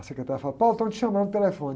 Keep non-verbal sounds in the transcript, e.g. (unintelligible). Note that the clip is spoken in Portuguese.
A secretária fala, (unintelligible) estão te chamando no telefone.